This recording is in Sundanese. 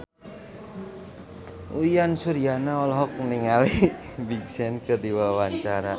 Uyan Suryana olohok ningali Big Sean keur diwawancara